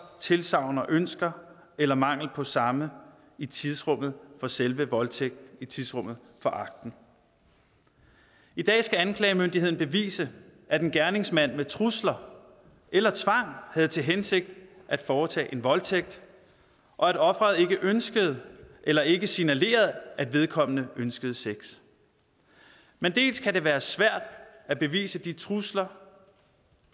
tilsagn og ønsker eller mangel på samme i tidsrummet for selve voldtægten i tidsrummet for akten i dag skal anklagemyndigheden bevise at en gerningsmand med trusler eller tvang havde til hensigt at foretage en voldtægt og at offeret ikke ønskede eller ikke signalerede at vedkommende ønskede sex men dels kan det være svært at bevise de trusler